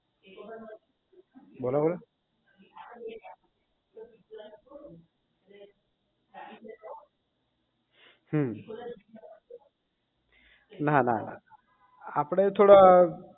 બરાબર હમ નાના આપણે થોડા